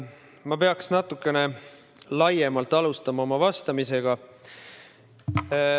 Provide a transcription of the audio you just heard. Ma peaks natukene laiemalt oma vastamist alustama.